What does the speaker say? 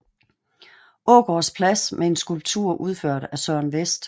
Aagaards Plads med en skulptur udført af Søren West